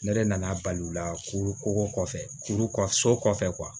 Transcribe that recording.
Ne yɛrɛ nana bali u la ko ko kɔfɛ kuru kɔ so kɔfɛ